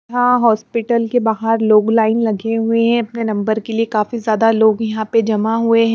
यहां हॉस्पिटल के बाहर लोग लाइन लगे हुए हैं अपने नंबर के लिए काफी ज्यादा लोग यहां पे जमा हुए हैं।